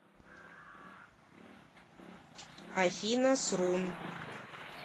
афина срун